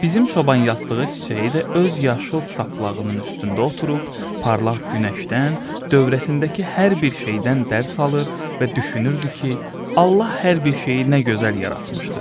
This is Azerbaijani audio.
Bizim çoban yastığı çiçəyi də öz yaşıl saplağının üstündə oturub, parlaq günəşdən, dövrəsindəki hər bir şeydən dərs alır və düşünürdü ki, Allah hər bir şeyi nə gözəl yaratmışdır.